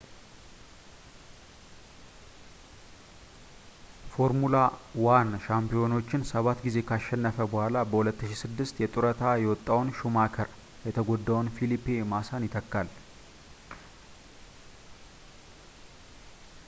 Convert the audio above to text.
ፎርሙላ 1 ሻምፒዮናዎችን ሰባት ጊዜ ካሸነፈ በኋላ በ2006 የጡረታ የወጣው ሹማከር የተጎዳውን ፊሊፔ ማሳን ይተካል